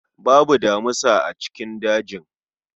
Babu damisa a cikin dajin